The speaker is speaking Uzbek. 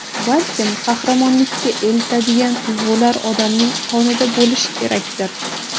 Balkim, qahramonlikka eltadigan tuyg‘ular odamning qonida bo‘lishi kerakdir?